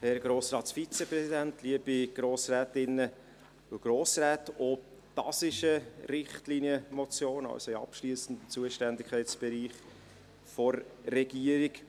Auch das ist eine Richtlinienmotion und liegt also im abschliessenden Kompetenzbereich der Regierung.